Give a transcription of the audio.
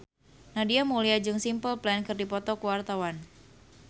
Nadia Mulya jeung Simple Plan keur dipoto ku wartawan